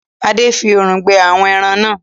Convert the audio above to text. Ade! fí òòrùn gbẹ àwọn èràn nà.